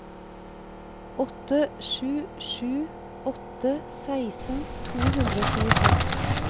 åtte sju sju åtte seksten to hundre og tjueseks